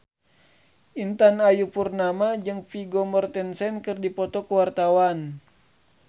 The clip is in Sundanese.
Intan Ayu Purnama jeung Vigo Mortensen keur dipoto ku wartawan